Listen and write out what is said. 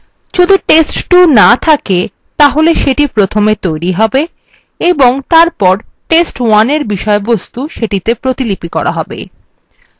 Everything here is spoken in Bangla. যদি test2 না থকে তাহলে এটা প্রথমে তৈরী হবে এবং তারপর test1 এর বিষয়বস্তু সেটি তে প্রতিলিপি করা হবে